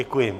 Děkuji.